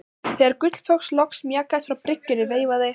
Þegar Gullfoss loks mjakaðist frá bryggjunni veifaði